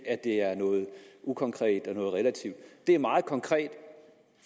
at det er noget ukonkret og relativt det er meget konkret